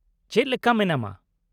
ᱪᱮᱫ ᱞᱮᱠᱟ ᱢᱮᱱᱟᱢᱟ ?